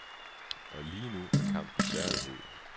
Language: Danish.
Lige nu er kampen særlig hed.